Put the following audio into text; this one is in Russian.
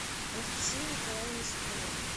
анастасии николаевне соколовой